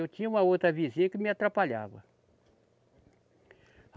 Eu tinha uma outra vizinha que me atrapalhava.